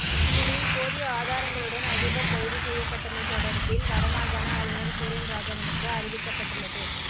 இந்நிலையில் போதிய ஆதாரங்களுடன் அதிபா் கைது செய்யப்பட்டமை தொடா்பில் வடமாகாண ஆளுநா் சுரேன் ராகவனுக்கு அறிவிக்கப்பட்டுள்ளது